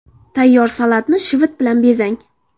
Tayyor salatni shivit bilan bezang.